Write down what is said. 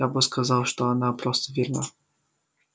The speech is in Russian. я бы сказал что она просто верна